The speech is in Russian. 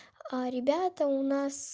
ребята у нас